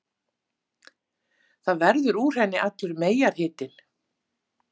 Það verður úr henni allur meyjarhitinn!